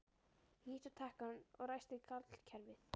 Ég ýtti á takkann og ræsti kallkerfið.